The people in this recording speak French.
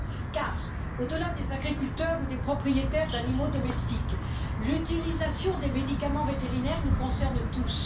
Car au delà des agriculteurs ou des propriétaires d'animaux domestiques, l'utilisation des médicaments vétérinaires nous concerne tous.